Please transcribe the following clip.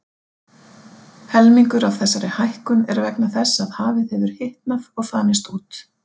Helmingur af þessari hækkun er vegna þess að hafið hefur hitnað og þanist út.